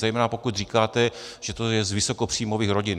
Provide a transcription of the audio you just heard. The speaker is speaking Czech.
Zejména pokud říkáte, že to je z vysokopříjmových rodin.